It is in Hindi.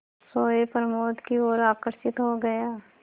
सोए प्रमोद की ओर आकर्षित हो गया